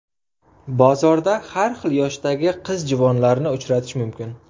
Bozorda har xil yoshdagi qiz-juvonlarni uchratish mumkin.